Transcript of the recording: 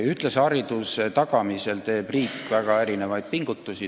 Ühtlase hariduse tagamisel teeb riik väga erinevaid pingutusi.